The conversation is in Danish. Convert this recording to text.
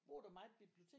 Bruger du meget biblioteket?